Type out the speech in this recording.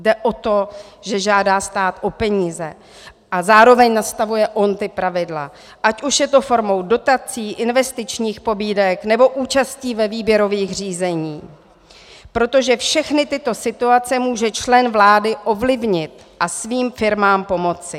Jde o to, že žádá stát o peníze a zároveň nastavuje on ta pravidla, ať už je to formou dotací, investičních pobídek, nebo účastí ve výběrových řízení, protože všechny tyto situace může člen vlády ovlivnit a svým firmám pomoci.